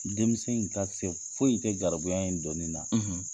Denmisɛn in ka se foyi te garibuya in donnin na.